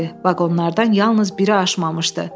Vaqonlardan yalnız biri aşmamışdı.